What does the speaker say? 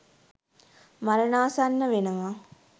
මරණාසන්න වෙනවා.